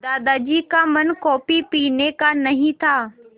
दादाजी का मन कॉफ़ी पीने का नहीं था